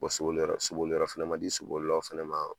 soboliyɔrɔ soboliyɔrɔ fɛnɛ ma di sobolilaw fɛnɛ ma.